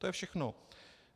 To je všechno.